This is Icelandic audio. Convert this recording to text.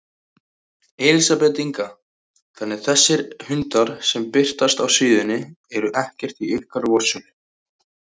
Elísabet Inga: Þannig þessir hundar sem birtast á síðunni eru ekkert í ykkar vörslu?